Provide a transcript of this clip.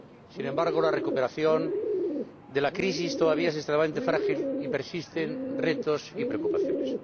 Sin embargo, la recuperación de la crisis todavía es extremamente frágil y persisten retos y preocupaciones.